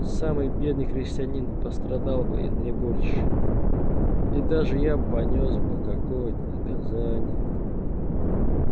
самый бедный крестьянин пострадал бы не больше и даже я понёс бы какое-то наказание